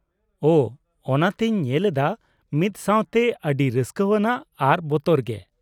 ᱚ ! ᱚᱱᱟᱛᱤᱧ ᱧᱮᱞ ᱮᱫᱟ ᱢᱤᱫᱥᱟᱶᱛᱮ ᱚᱹᱰᱤ ᱨᱟᱹᱥᱠᱞᱟᱹᱣᱟᱱᱟᱜ ᱟᱨ ᱵᱚᱛᱚᱨᱜᱮ ᱾